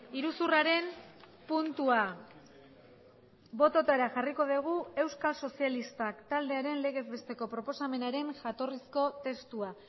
iruzurraren puntua bototara jarriko dugu euskal sozialistak taldearen legez besteko proposamenaren jatorrizko testua